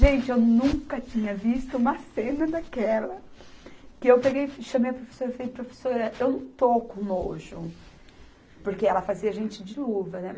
Gente, eu nunca tinha visto uma cena daquela, que eu peguei, chamei a professora e falei, professora, eu não estou com nojo, porque ela fazia a gente ir de luva, né?